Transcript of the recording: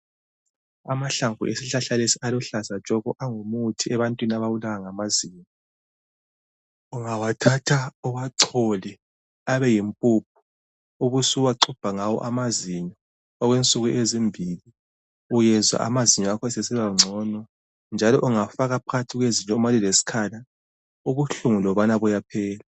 Amahlamvu esihlahla lesi aluhlaza tshoko angumuthi ebantwini ababulawa ngamazinyo. Ungawathatha uwachole abe yimpuphu ubusuxubha ngawo amazinyo okwenzuku ezimbili uyezwa amazinyo akhona asesibangcono njalo ungafaka phakathi kwezinyo nxa lilesikhala ubuhlungu lobana buyaphela.